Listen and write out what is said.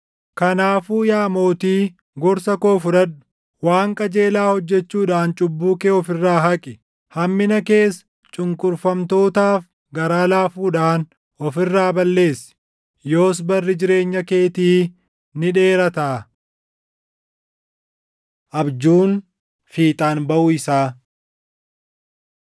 Kanaafuu yaa Mootii, gorsa koo fudhadhu: Waan qajeelaa hojjechuudhaan cubbuu kee of irraa haqi; hammina kees cunqurfamtootaaf garaa laafuudhaan of irraa balleessi; yoos barri jireenya keetii ni dheerataa.” Abjuun Fiixaan Baʼuu Isaa